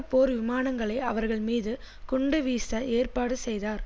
போர் விமானங்களை அவர்கள் மீது குண்டுவீச ஏற்பாடு செய்தார்